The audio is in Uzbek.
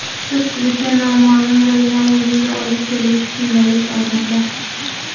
Ko‘pchilikka noma’lum bo‘lgan o‘limga olib keluvchi kundalik odatlar .